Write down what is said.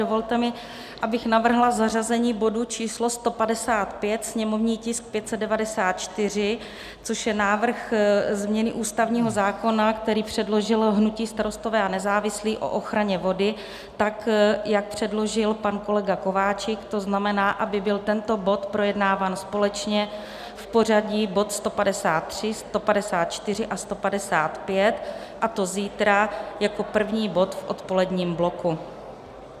Dovolte mi, abych navrhla zařazení bodu číslo 155 sněmovní tisk 594, což je návrh změny ústavního zákona, který předložilo hnutí Starostové a nezávislí, o ochraně vody, tak jak předložil pan kolega Kováčik, to znamená, aby byl tento bod projednáván společně v pořadí bod 153, 154 a 155, a to zítra jako první bod v odpoledním bloku.